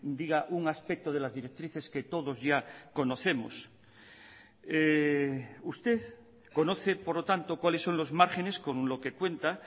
diga un aspecto de las directrices que todos ya conocemos usted conoce por lo tanto cuáles son los márgenes con lo que cuenta